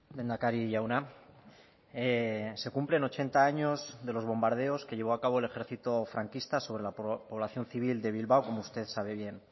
lehendakari jauna se cumplen ochenta años de los bombardeos que llevó a cabo el ejercito franquista sobre la población civil de bilbao como usted sabe bien